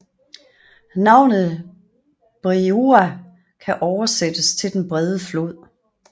Navnet Breiðá kan oversættes til den brede flod